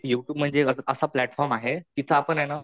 U tube म्हणजे असा platform आहे जिथं आपने ना